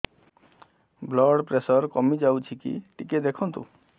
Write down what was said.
blood pressure କମି ଯାଉଛି କି ଟିକେ ଦେଖନ୍ତୁ